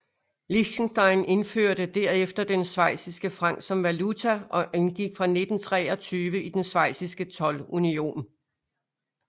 Liechtenstein indførte derefter den schweiziske franc som valuta og indgik fra 1923 i den schweiziske toldunion